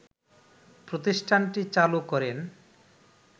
প্রতিষ্ঠানটি চালু করেন